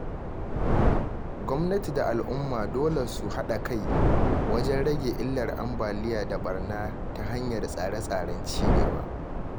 Gwamnati da al’umma dole su haɗa kai wajen rage illar ambaliya da ɓarna ta hanyar tsare-tsaren ci gaba.